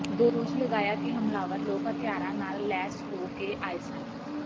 ਦੋਸ਼ ਲਗਾਇਆ ਕਿ ਹਮਲਾਵਰ ਲੋਕ ਹਥਿਆਰਾਂ ਨਾਲ ਲੈਸ ਹੋ ਕੇ ਆਏ ਸਨ